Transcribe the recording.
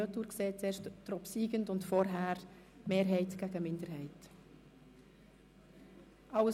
Im Rückblick betrachtet, haben wir über den obsiegenden und vorher über die Anträge Mehrheit gegen Minderheit abgestimmt.